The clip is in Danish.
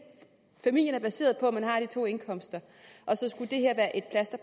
familiens baseret på to indkomster